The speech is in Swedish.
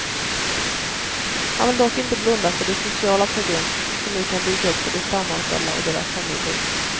Han vill dock inte blunda för de sociala problem som nu kan dyka upp för de stamanställda och deras familjer.